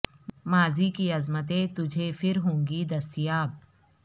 ماضی کی عظمتیں تجھے پھر ہوں گی دست یاب